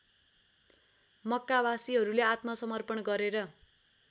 मक्कावासीहरूले आत्मसमर्पण गरेर